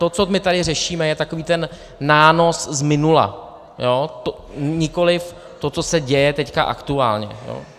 To, co my tady řešíme, je takový ten nános z minula, nikoliv to, co se děje teď aktuálně.